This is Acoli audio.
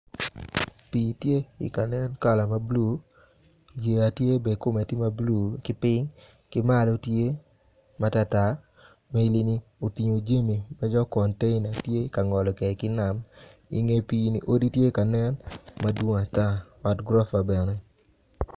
Pi tye i kalel kala blue yeya tye bene kome tye mablue kiping kimalo tye matartar ma enini oting jami ma dok conteina tye ngolo kede ki nam i nge pi ni odi tye ka nen madwong ata bad gurofa bene.